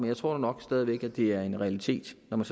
jeg tror nok stadig væk at det er en realitet når man